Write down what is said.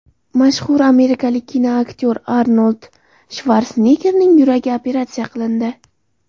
Mashhur amerikalik kinoaktyor Arnold Shvarseneggerning yuragi operatsiya qilindi.